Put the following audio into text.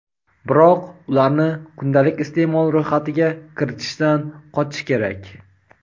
biroq ularni kundalik iste’mol ro‘yxatiga kiritishdan qochish kerak.